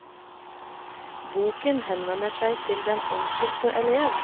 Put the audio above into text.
Boken henvender seg til den enkelte elev.